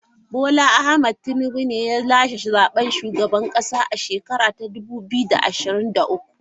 Bola Ahmed Tinubu ne ya lashe zaben shugaban kasa a shekara ta dubu biyu da ashirin da uku.